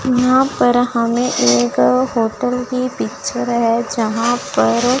यहां पर हमें एक होटल की पिक्चर है यहां पर--